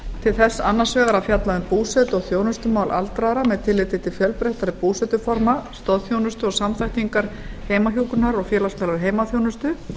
til þess annars vegar að fjalla um búsetu og þjónustumál aldraðra með tilliti til fjölbreyttari búsetuforma stoðþjónustu og samþættingar heimahjúkrunar og félagslegrar heimaþjónustu